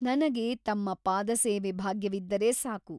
ನನಗೆ ತಮ್ಮ ಪಾದಸೇವೆ ಭಾಗ್ಯವಿದ್ದರೆ ಸಾಕು.